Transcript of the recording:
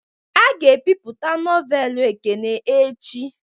A ga ebipụta nọvelu Ekene echi